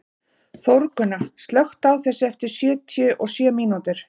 Þórgunna, slökktu á þessu eftir sjötíu og sjö mínútur.